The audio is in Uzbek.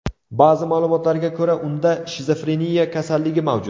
Ba’zi ma’lumotlarga ko‘ra, unda shizofreniya kasalligi mavjud.